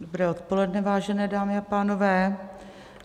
Dobré odpoledne, vážené dámy a pánové.